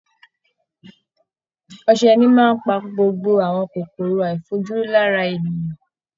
Ọsẹ ní máa ń pa gbogbo àwọn kòkòrò àìfojúrí lára ènìyàn